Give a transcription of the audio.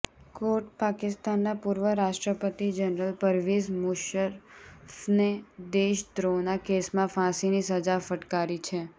કોર્ટે પાકિસ્તાનના પૂર્વ રાષ્ટ્રપતિ જનરલ પરવેઝ મુશર્રફને દેશદ્રોહના કેસમાં ફાંસીની સજા ફટકારી છે